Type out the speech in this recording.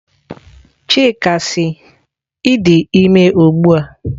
Chika si, I di ime ugbua?